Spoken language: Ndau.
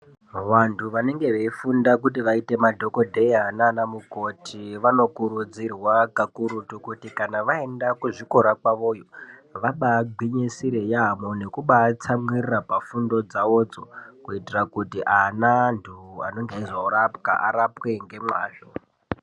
Vantu vanenge veifunda kuti vaite madhokodheya nanamukoti vanokurudzirwa kakurutu kuti kana vaenda kuzvikora kwavoyo vabagwinyisire yambo nekubatsamwirira pafundo dzavodzo kuitira kuti anaantu anenge eizorapwa arapwe ngemwazvo.